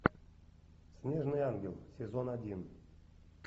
снежный ангел сезон один